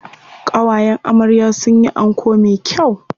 Ƙawayen amarya sun yi anko me kyau.